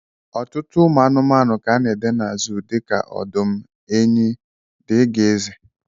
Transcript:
ọtụtụ anụmanụ ka ana ede na zoo dika: odum, enyi dgz.